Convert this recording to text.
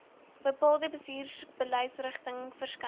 bepaalde bestuursbeleidsrigtings verskyn